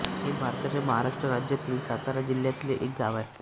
हे भारताच्या महाराष्ट्र राज्यातील सातारा जिल्ह्यातले एक गाव आहे